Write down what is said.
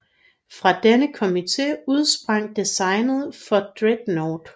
Fra denne komite udsprang designet for Dreadnought